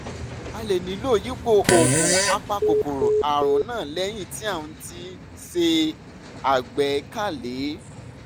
a lè nílò yípo oògùn apakòkòrò àrùn náà lẹ́yìn tí à ń tí à ń ṣe àgbékalẹ̀